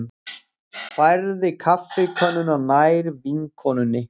Færði kaffikönnuna nær vinkonunni.